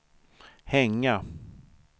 hänga